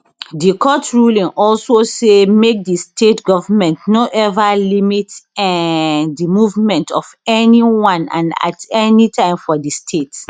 di court ruling also say make di state goment no eva limit um di movement of anyone and at anytime for di state